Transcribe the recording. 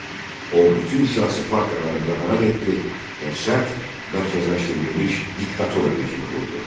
O bütün siyasi partiyaları qadağan etdi və sərt mərkəzləşdirilmiş diktatura rejimi qurdu.